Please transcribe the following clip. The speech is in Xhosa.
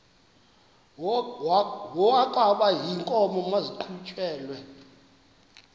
wokaba iinkomo maziqhutyelwe